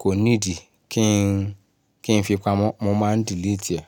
kò nídi kí n kí n fi pamọ́, mo máa ń delete ẹ̀.